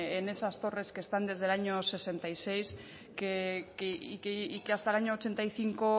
en esas torres que están desde el año sesenta y seis y que hasta el año ochenta y cinco